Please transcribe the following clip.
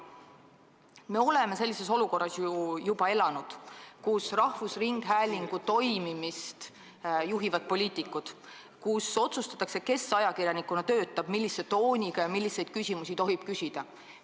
Me oleme ju juba elanud sellises olukorras, kus rahvusringhäälingu toimimist juhivad poliitikud, kes otsustavad, kes ajakirjanikuna töötab ning millise tooniga ja milliseid küsimusi tohib küsida.